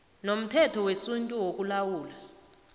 nomthetho wesintu wokulawula